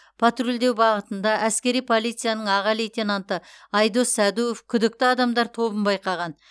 патрульдеу бағытында әскери полицияның аға лейтенанты айдос сәдуов күдікті адамдар тобын байқаған